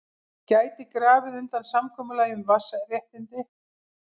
Gæti grafið undan samkomulagi um vatnsréttindi